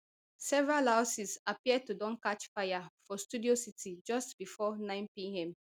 several houses appear to don catch fire for studio city just before ninepm